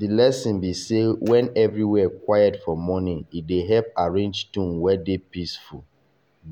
the lesson be sey when everywhere quiet for morning e dey help arrange tone wey dey peaceful.